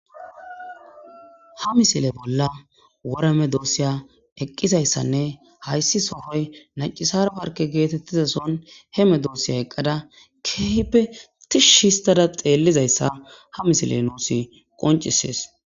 ha misile bolla worame doosiya eqqizayssanne hayssi sohoy nacisara parke geetettizason he me doosiya eqqada keehippe tish histada xeellizayssa ha misile nuusi qoncisees